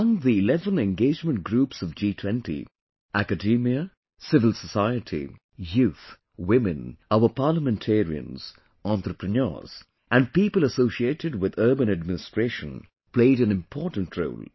Among the eleven Engagement Groups of G20, Academia, Civil Society, Youth, Women, our Parliamentarians, Entrepreneurs and people associated with Urban Administration played an important role